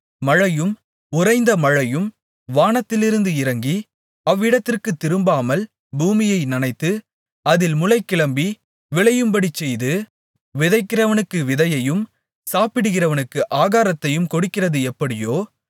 மழையும் உறைந்த மழையும் வானத்திலிருந்து இறங்கி அவ்விடத்திற்குத் திரும்பாமல் பூமியை நனைத்து அதில் முளை கிளம்பி விளையும்படிச்செய்து விதைக்கிறவனுக்கு விதையையும் சாப்பிடுகிறவனுக்கு ஆகாரத்தையும் கொடுக்கிறது எப்படியோ